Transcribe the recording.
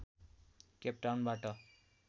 केपटाउनबाट